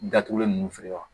Datugulen ninnu feere wa